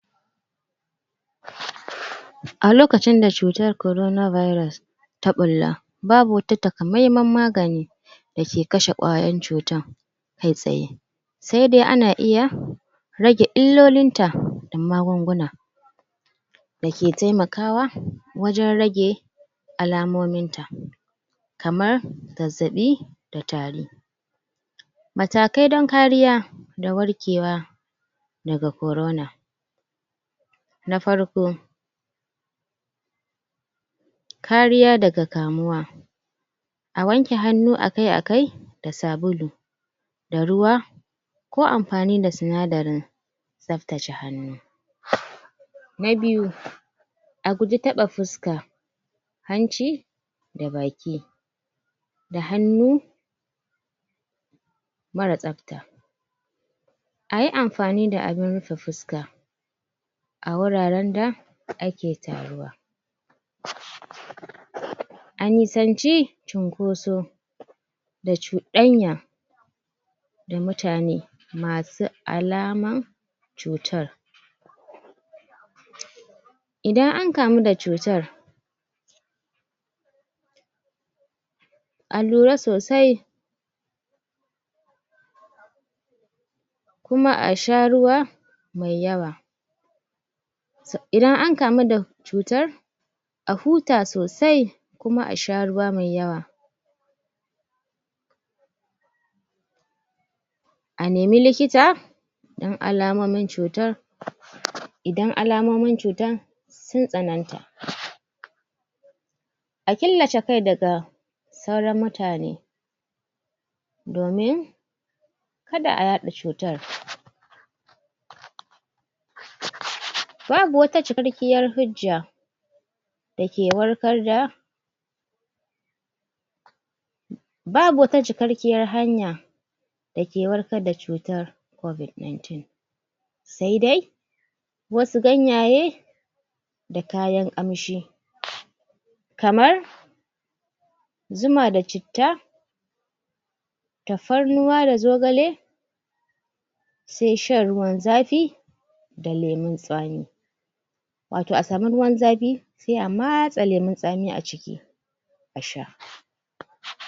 a lokacin da cutar corona virus ta ɓilla babu wata takameman magani dake kashe ƙwayoyin cutar kai tsaye sai dai ana iya rage illolinta da magunguna dake taimakawa wajan rage alamominta kamar zazzaɓi da tari matakai dan kariya da warkewa daga corona na farko kariya daga kamuwa a wanke hannu akai akai da sabulu da ruwa ko amfani da sinadarin tsaftace hannu na biyu a guje taɓa fuska hanci da baki da hannu mara tsafta ayi amfani da abun rufe fuska a wuraran da ake taruwa a nisance cunkoso da cuɗanya da mutane masu alaman cutan idan ankamo da cutar a lura sosai kuma asha ruwa me yawa idan ankamo da cutar a huta sosai kuma asha ruwa me yawa a neme likita da alamomin cutar idan alamomin cutar sun tsananta a killace kai daga sauran mutane domin kada a yaɗa cutar babu wata cikakkiyar hujja dake warkar da babu wata cikakkiyar hanya dake warkar da cutar COVID19 sai dai wasu ganyaye da kayan amshi kamar kamar zuma da citta tafarnuwa da zogale sai shan ruwan zafi da lemon tsami wato a sami ruwan zafi sai a matsa leman tsami a ciki